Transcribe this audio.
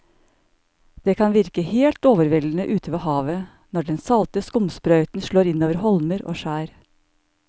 Det kan virke helt overveldende ute ved havet når den salte skumsprøyten slår innover holmer og skjær.